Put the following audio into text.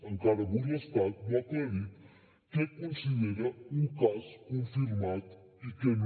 encara avui l’estat no ha aclarit què considera un cas confirmat i què no